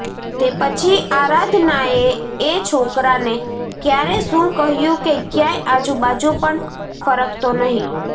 તે પછી આરાધનાએ એ છોકરાને ક્યારે શું કહ્યું કે ક્યાંય આજુબાજુ પણ ફરકતો નહીં